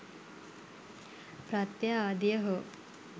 ප්‍රත්‍ය ආදිය හෝ